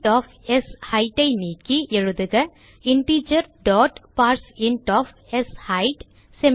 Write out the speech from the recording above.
int of shade ஐ நீக்கி எழுதுக இன்டிஜர் டாட் பார்சின்ட் ஒஃப் ஷெய்த்